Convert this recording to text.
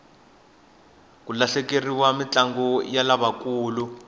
ku hlaleriwa mintlangu ya lavakulu